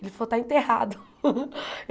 Ele falou, está enterrado.